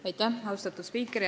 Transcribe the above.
Aitäh, austatud spiiker!